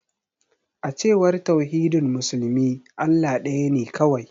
A cewar tauhidin musulmi, Allah daya ne kawai.